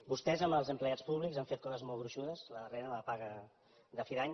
vostès amb els empleats públics han fet coses molt gruixudes la darrera la de la paga de fi d’any